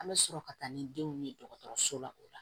An bɛ sɔrɔ ka taa ni denw ye dɔgɔtɔrɔso la o la